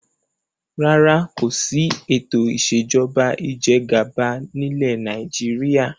Rárá, kòsi ètò ìsèjọba ìjẹgàba nilẹ Nàìjíríà